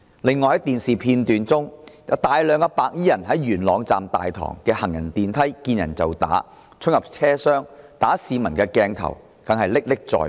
此外，電視片段亦顯示，大量白衣人在元朗站大堂的行人電梯見人就打，而他們衝入車廂毆打市民的鏡頭更是歷歷在目。